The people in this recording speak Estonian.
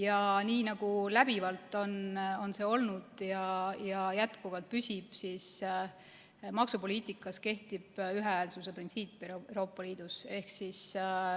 Ja nii, nagu läbivalt on olnud ja jätkuvalt püsib, kehtib Euroopa Liidu maksupoliitikas ühehäälsuse printsiip.